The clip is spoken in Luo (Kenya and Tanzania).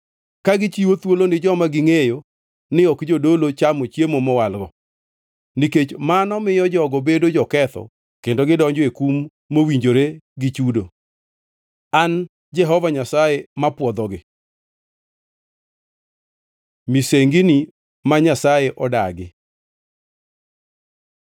ka gichiwo thuolo ni joma gingʼeyo ni ok jodolo chamo chiemo mowalgo, nikech mano miyo jogo bedo joketho kendo gidonjo e kum mowinjore gi chudo. An Jehova Nyasaye mapwodhogi.’ ” Misengini ma Nyasaye odagi